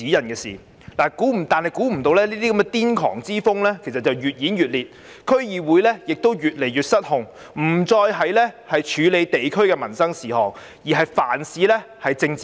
萬料不到這種癲狂之風越演越烈，區議會越來越失控，不再處理地區民生事務，而是凡事政治化。